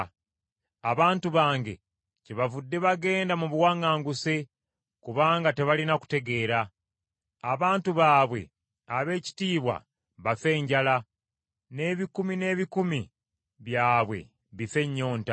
Abantu bange kyebavudde bagenda mu buwaŋŋanguse kubanga tebalina kutegeera. Abantu baabwe ab’ekitiibwa bafe enjala, n’abantu aba bulijjo bafe ennyonta.